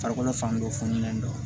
Farikolo fan dɔ fununen don